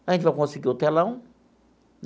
A gente vai conseguir o telão.